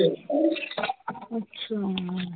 ਅੱਛਾ l